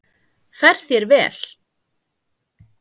Fer þér vel!